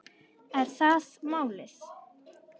Er það málið?